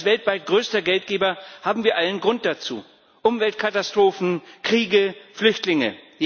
Als weltweit größter Geldgeber haben wir allen Grund dazu Umweltkatastrophen, Kriege, Flüchtlinge.